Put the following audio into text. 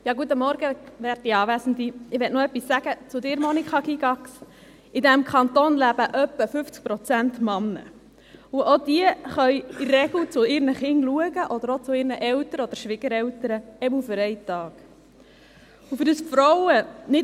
Ich möchte noch etwas zu Ihnen sagen, Monika Gygax: In diesem Kanton leben etwa 50 Prozent Männer, und auch diese können in der Regel zu ihren Kindern schauen, oder auch zu ihren Eltern oder Schwiegereltern, auf jeden Fall für einen Tag.